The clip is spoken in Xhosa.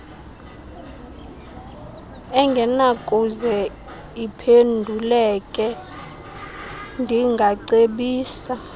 engenakuze iphenduleke ndingacebisa